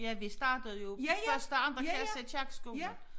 Ja vi startede jo første anden klasse i kirkeskolen